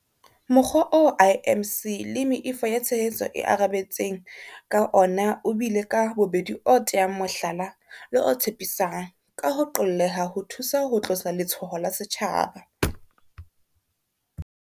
Mokgwa oo IMC le meifo ya tshehetso e arabetseng ka ona o bile ka bobedi o teyang mohlala le o tshepisang, ka ho qolleha ho thusa ho tlosa letshoho la setjhaba.